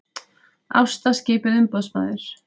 Ásta skipuð umboðsmaður